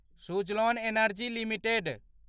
Suzlon energy limited